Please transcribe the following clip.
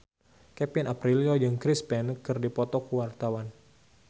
Kevin Aprilio jeung Chris Pane keur dipoto ku wartawan